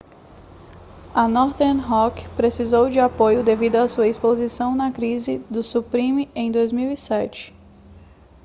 a northern rock precisou de apoio devido a sua exposição na crise do subprime em 2007